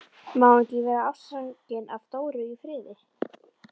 Má hann ekki vera ástfanginn af Dóru í friði?